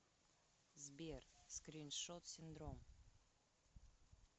сбер скриншот синдром